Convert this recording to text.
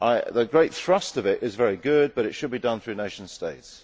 The great thrust of it is very good, but it should be done through nation states.